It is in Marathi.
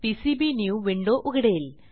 पीसीबीन्यू विंडो उघडेल